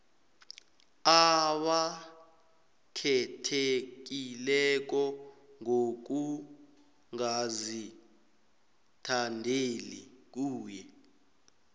abakhethekileko ngokungazithandeli kuye